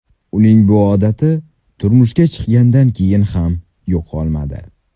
Uning bu odati turmushga chiqqanidan keyin ham yo‘qolmadi.